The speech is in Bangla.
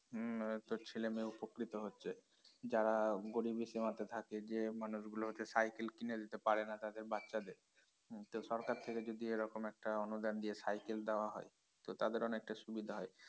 হম আহ তো ছেলেমেয়ে উপকৃত হচ্ছে যারা গরীব সীমাতে থাকে যে মানুষগুলো হচ্ছে cycle কিনে দিতে পারে না তাদের বাচ্চাদের হম তো সরকার থেকে যদি এরকম একটা অনুদান দিয়ে cycle দেওয়া হয় তো তাদের অনেকটা সুবিধা হয়